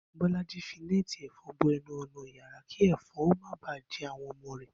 Bó̩lájí fi né̩è̩tì è̩fo̩n bo e̩nu ò̩nà yàrá kí è̩fo̩n ó má ba à je̩ àwo̩n o̩mo̩ rè̩